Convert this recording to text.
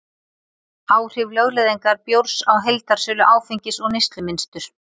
Áhrif lögleiðingar bjórs á heildarsölu áfengis og neyslumynstur